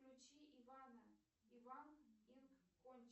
включи иванна иван инд